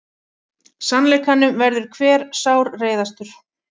Sannleikanum verður hver sárreiðastur.